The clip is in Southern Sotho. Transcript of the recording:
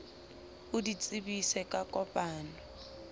o di tsebise ka kopano